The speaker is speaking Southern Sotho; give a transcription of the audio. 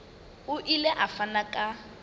o ile a fana ka